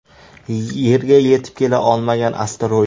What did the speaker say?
Yerga yetib kela olmagan asteroid.